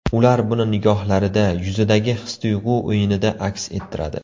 Ular buni nigohlarida, yuzidagi his-tuyg‘u o‘yinida aks ettiradi.